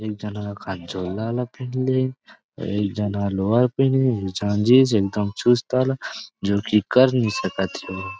एक झन ह खा झोला वाला पहिन ले हे एक झन लोवर पहिन ले हे एक झन जींस एक दम चुस्त वाला जो की कर नई सकत हे ओहा।